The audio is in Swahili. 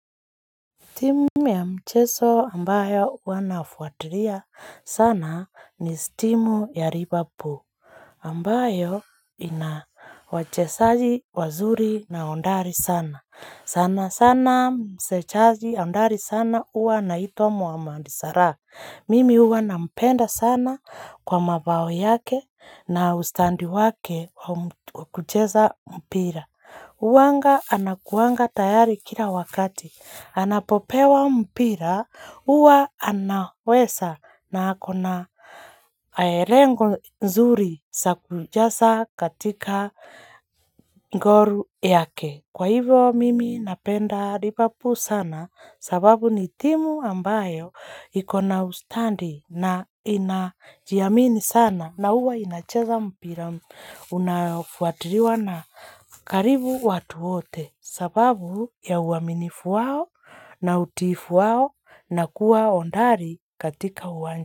Timu ya mcheso ambayo ua nafuatilia sana ni stimu ya liverpool. Ambayo. Ina wachesaji wazuri na ondari sana. Sana sana msechaji ondari sana uwa na hito mohammed salah. Mimi uwa na mpenda sana kwa mabao yake na ustandi wake kukucheza mpira. Uwanga anakuwanga tayari kila wakati. Anapopewa mpira. Uwa anawesa na akona aerengo nzuri sakujasa katika ngoru yake. Kwa hivyo mimi napenda liverpool sana sababu ni timu ambayo ikona ustandi na inajiamini sana na uwa inacheza mpira unafuatiriwa na karibu watu wote. Sababu ya uaminifu wao na utifu wao na kuwa ondari katika uwanja.